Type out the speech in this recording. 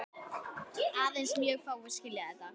Aðeins mjög fáir skilja þetta.